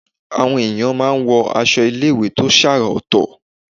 Àwọn èèyàn máa ń wọ aṣọ iléèwé tó ṣàrà ọ̀tọ̀